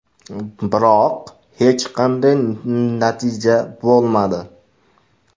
Biroq hech qanday natija bo‘lmadi.